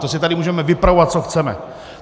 To si tady můžeme vypravovat, co chceme.